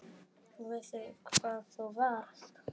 Veistu hvar þú varst?